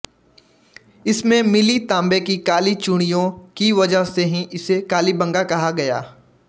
इसमें मिली तांबे की काली चूड़ियों की वजह से ही इसे कालीबंगा कहा गया